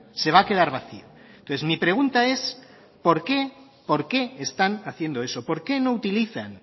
se va a quedar vacío entonces mi pregunta es por qué están haciendo eso por qué no utilizan